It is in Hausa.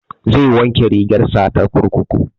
Zai wanke rigar sa ta kurkuku